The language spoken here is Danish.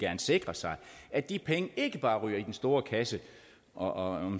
sikre sig at de penge ikke bare ryger i den store kasse og